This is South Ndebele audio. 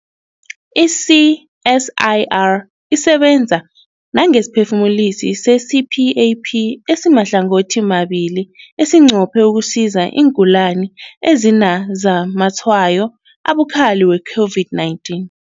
I-CSIR isebenza nangesiphefumulisi se-CPAP esimahlangothimabili esinqophe ukusiza iingulani ezinazamatshwayo abukhali we-COVID-19.